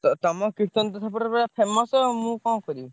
ତ ତମ କୀର୍ତ୍ତନ ସେପଟରେ ପୁରା famous ଆଉ ମୁଁ କଣ କରିବି।